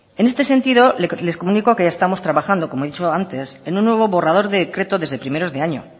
en este sentido les comunico que estamos trabajando como he dicho antes en un nuevo borrador de decreto desde primeros de año